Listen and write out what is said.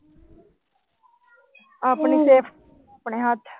ਆਪਣੀ safety ਆਪਣੇ ਹੱਥ।